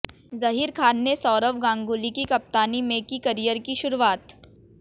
जहीर खान ने सौरव गांगुली की कप्तानी में की करियर की शुरुआत